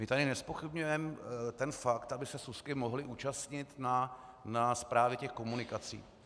My tady nezpochybňujeme ten fakt, aby se súsky mohly účastnit na správě těch komunikací.